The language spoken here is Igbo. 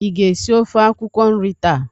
Ị ga-esi ofe akwụkwọ nri taa?